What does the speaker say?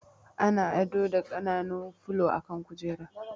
Ana ado da ƙananun fulo a kan kujera